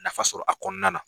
Nafa sɔrɔ a kɔnɔna na.